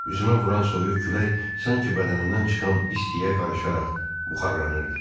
Üzümə vuran soyuq külək sanki bədənimdən çıxan istiyə qarışaraq buxarlanırdı.